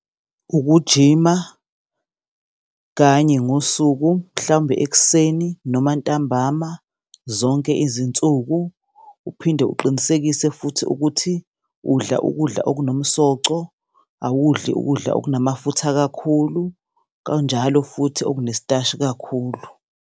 Ukujima, kanye ngosuku, mhlawumbe ekuseni noma ntambama, zonke izinsuku, uphinde uqinisekise futhi ukuthi udla ukudla okunomsoco, awudli ukudla okunamafutha kakhulu, kanjalo futhi okunesitashi kakhulu.